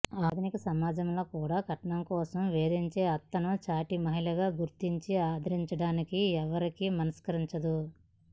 ఆధునిక సమాజంలో కూడా కట్నం కోసం వేధించే అత్తను సాటి మహిళగా గుర్తించి ఆదరించడానికి ఎవరికీ మనస్కరించదు